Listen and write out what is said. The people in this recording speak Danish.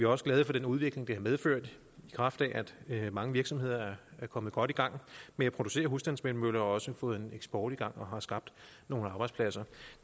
også glade for den udvikling det har medført i kraft af at mange virksomheder er kommet godt i gang med at producere husstandsvindmøller og også har fået eksport i gang og har skabt nogle arbejdspladser